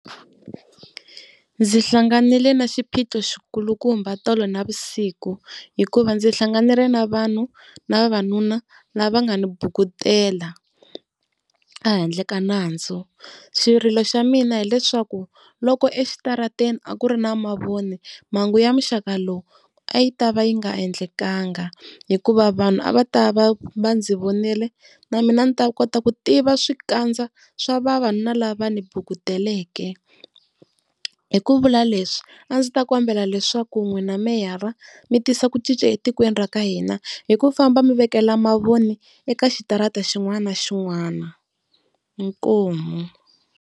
Ndzi hlanganile na xiphiqo xikulukumba tolo navusiku hikuva ndzi hlanganile na vanhu na vavanuna lava nga ni bukutela, a handle ka nandzu. Xirilo xa mina hileswaku loko exitarateni a ku ri na mavoni mhangu ya muxaka lowu a yi ta va yi nga endlekaka, hikuva vanhu a va ta va va ndzi vonile na mina ndzi ta kota ku tiva swikandza swa vavanuna lava ndzi bukuteleke. Hi ku vula leswi a ndzi ta kombela leswaku n'wina meyara mi tisa ku cinca etikweni ra ka hina hi ku famba mi vekela mavoni eka xitarata xin'wana na xin'wana inkomu.